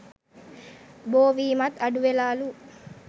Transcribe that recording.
බෝවීමත් අඩුවෙලාලු